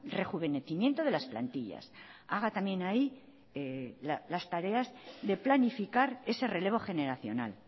rejuvenecimiento de las plantillas haga también ahí las tareas de planificar ese relevo generacional